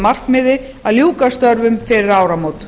markmiði að ljúka störfum fyrir áramót